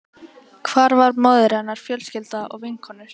Hvar var móðir hennar, fjölskylda, vinkonur?